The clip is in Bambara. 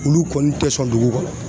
Olu kɔni tɛ sɔn dugu kɔnɔ.